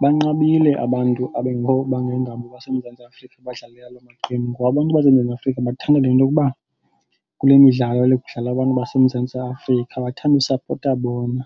Banqabile abantu abangengabo abaseMzantsi Afrika abadlalela loo maqembu ngoba abantu baseMzantsi Afrika bathanda le nto yokuba kule midlalo le kudlala abantu baseMzantsi Afrika bathanda ukusapota bona.